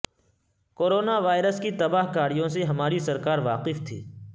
corona virus کی تباہ کاریوں سے ہماری سرکار واقف تھی